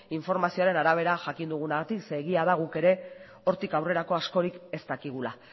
informazioaren arabera jakin dugunagatik ze egia da guk ere hortik aurrerako askorik ez dakigula